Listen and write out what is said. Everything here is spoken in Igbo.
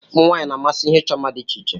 Ụmụ nwanyị na-amasị ihe ịchọ mma dị iche iche.